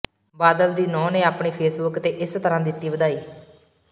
ਬਾਦਲ ਦੀ ਨੂੰਹ ਨੇ ਆਪਣੀ ਫੇਸਬੂਕ ਤੇ ਇਸਤਰਾਂ ਦਿਤੀ ਵਧਾਈ